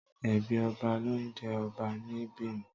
Ẹbí ọba ló ń jé ọba ní Bìní.